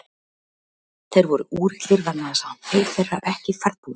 Þeir voru úrillir vegna þess að hann beið þeirra ekki ferðbúinn.